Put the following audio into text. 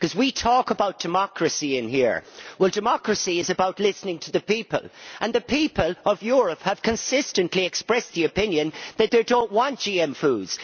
We talk about democracy in here, but democracy is about listening to the people, and the people of Europe have consistently expressed the opinion that they do not want GM foods.